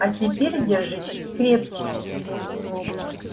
а теперь держитесь крепче